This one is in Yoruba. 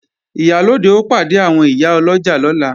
Ìyálóde ó pàdé àwọn ìyá ọlọ́jà lọ́la